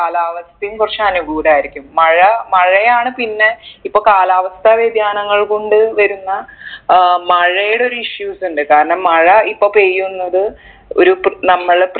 കാലാവസ്ഥയും കുറച്ച് അനുകൂലായിരിക്കും മഴ മഴയാണ് പിന്നെ ഇപ്പൊ കാലാവസ്ഥ വ്യതിയാനങ്ങൾ കൊണ്ട് വരുന്ന അഹ് മഴയുടെ ഒരു issues ഇണ്ട് കാരണം മഴ ഇപ്പൊ പെയ്യുന്നത് ഒര് പ് നമ്മൾ